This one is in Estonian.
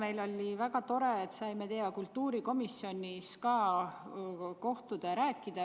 Eile oli väga tore, me saime teiega ka kultuurikomisjonis kohtuda ja sellest rääkida.